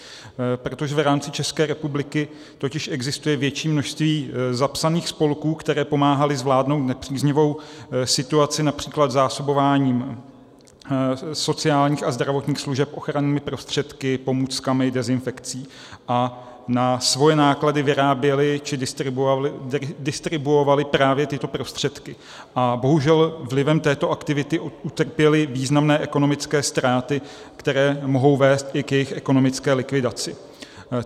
Protože v rámci České republiky totiž existuje větší množství zapsaných spolků, které pomáhaly zvládnout nepříznivou situaci, například zásobováním sociálních a zdravotních služeb ochrannými prostředky, pomůckami, dezinfekcí, na svoje náklady vyráběly či distribuovaly právě tyto prostředky a bohužel vlivem této aktivity utrpěly významné ekonomické ztráty, které mohou vést i k jejich ekonomické likvidaci.